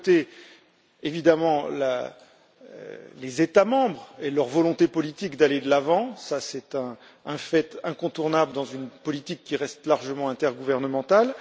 D'un côté, évidemment, il y a les États membres et leur volonté politique d'aller de l'avant c'est un fait incontournable dans une politique qui reste largement intergouvernementale.